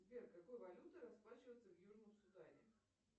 сбер какой валютой расплачиваются в южном судане